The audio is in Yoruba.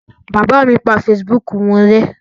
Bàbá mi pa Facebook wọn rẹ́.